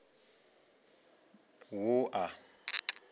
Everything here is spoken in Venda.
wua